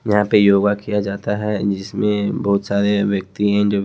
यहां पे योगा किया जाता है जिसमें बहुत सारे व्यक्ति हैं जो--